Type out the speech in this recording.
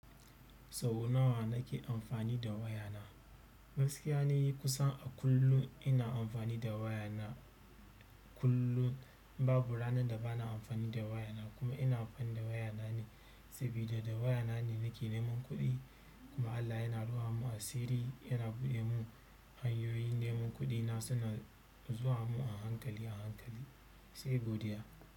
Sau nawa nake amfani da waya na? Gaskiya ne yi kusan a kullun ina amfani da waya na. Kullun babu ranar da ba na amfani da waya na kuma ina amfani da waya na ne, sabida da waya na ne nake neman kuɗi. Kuma Allah yana rufa mun asirri, yana buɗe mun hanyoyin neman kuɗi na suna zuwa mun a hankali a hankali, sai godiya.